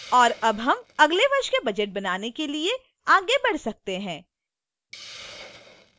और अब हम अगले वर्ष के budget बनाने के लिए आगे बढ़ सकते हैं